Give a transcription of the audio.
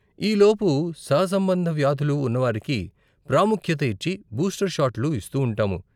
ఈ లోపు సహసంబంధ వ్యాధులు ఉన్నవారికి ప్రాముఖ్యత ఇచ్చి బూస్టర్ షాట్లు ఇస్తూ ఉంటాము.